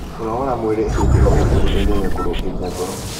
kũnogora mwĩrĩ hĩndĩ o hĩndĩ gũteithagia kurungirĩa ngoro